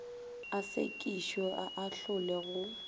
a sekišwe a ahlolwe go